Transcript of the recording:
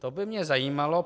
To by mě zajímalo.